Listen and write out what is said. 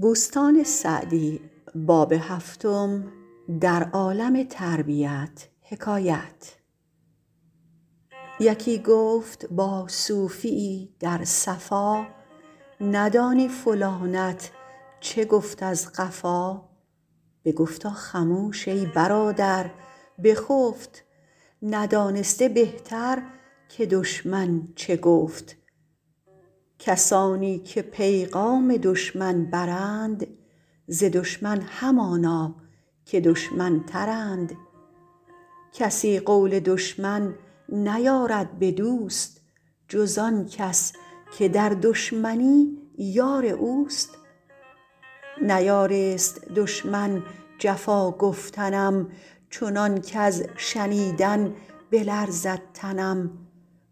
یکی گفت با صوفی یی در صفا ندانی فلانت چه گفت از قفا بگفتا خموش ای برادر بخفت ندانسته بهتر که دشمن چه گفت کسانی که پیغام دشمن برند ز دشمن همانا که دشمن تر ند کسی قول دشمن نیارد به دوست جز آن کس که در دشمنی یار اوست نیارست دشمن جفا گفتنم چنان کز شنیدن بلرزد تنم